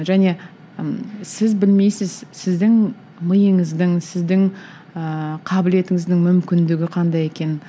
және ы сіз білмейсіз сіздің миыңыздың сіздің ыыы қабілетіңіздің мүмкіндігі қандай екенін